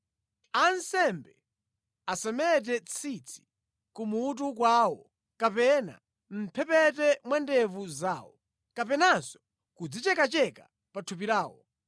“ ‘Ansembe asamete tsitsi kumutu kwawo kapena mʼmphepete mwa ndevu zawo, kapenanso kudzichekacheka pa thupi lawo.